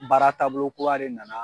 Baara taabolo kura de nana